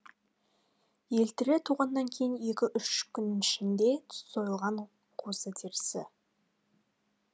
елтірі туғаннан кейін екі үш күн ішінде сойылған қозы терісі